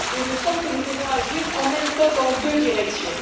Il me semble que nous devons agir en même temps dans deux directions.